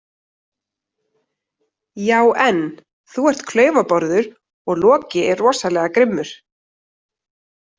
Já en, þú ert klaufabárður og Loki er rosalega grimmur.